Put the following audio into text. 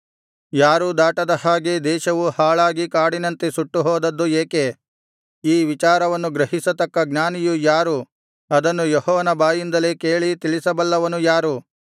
ಯಾರೂ ದಾಟದ ಹಾಗೆ ದೇಶವು ಹಾಳಾಗಿ ಕಾಡಿನಂತೆ ಸುಟ್ಟು ಹೋದದ್ದು ಏಕೆ ಈ ವಿಚಾರವನ್ನು ಗ್ರಹಿಸತಕ್ಕ ಜ್ಞಾನಿಯು ಯಾರು ಅದನ್ನು ಯೆಹೋವನ ಬಾಯಿಂದಲೇ ಕೇಳಿ ತಿಳಿಸಬಲ್ಲವನು ಯಾರು